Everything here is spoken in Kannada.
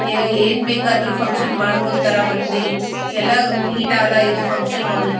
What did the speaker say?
ಜಗ್ಗಿ ಕ್ಲೀನ್ ಆದ ಇದ ಫಂಕ್ಷನ್ ಹಾಲ್ ಇದು.